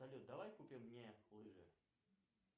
салют давай купим мне лыжи